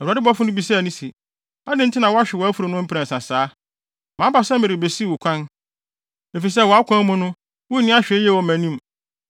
Awurade bɔfo no bisaa no se, “Adɛn nti na woahwe wʼafurum no mprɛnsa saa? Maba sɛ merebesiw wo kwan, efisɛ wʼakwan mu no wunni ahwɛyie wɔ mʼanim.